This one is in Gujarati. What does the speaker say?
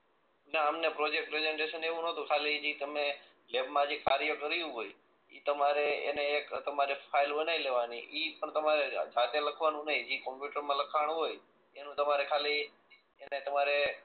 ના અમને પ્રોજેક્ટ પ્રેજન્ટેશન ને એવું નતું ખાલી ઈ તમને લેબ માં જે કાર્ય કર્યું હોય ઈ તમારે એને એક તમારે ફાઈલ બનાઈ લેવાની ઈ પણ તમારે હાથ એ લખવાનું નહી ઈ કોમ્પ્યુટર માં લખાણું હોય એનું તમારે ખાલી તેને